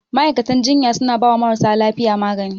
Ma'aikatan jinya suna bawa marasa lafiya magani.